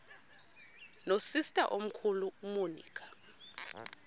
nosister omkhulu umonica